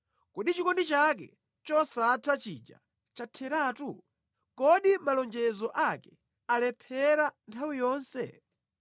Kodi Chikondi chake chosatha chija chatheratu? Kodi malonjezo ake alephera nthawi yonse?